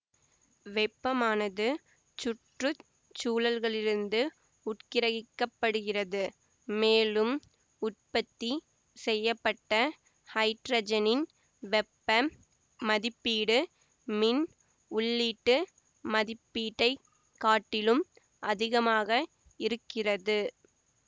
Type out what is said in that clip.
வெப்பமானது சுற்று சூழல்களிலிருந்து உட்கிரகிக்கப்படுகிறது மேலும் உற்பத்தி செய்ய பட்ட ஹைட்ரஜனின் வெப்ப மதிப்பீடு மின் உள்ளீட்டு மதிப்பீட்டை காட்டிலும் அதிகமாக இருக்கிறது